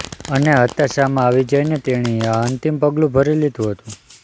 અને હતાશામાં આવી જઈને તેણીએ આ અંતિમ પગલું ભરી લીધું હતું